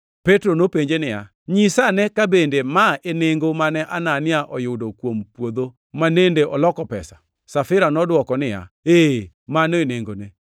Petro nopenje niya, “Nyisa ane ka bende ma e nengo mane Anania oyudo kuom puodho manende oloko pesa?” Safira nodwoke niya, “Ee, mano e nengone.”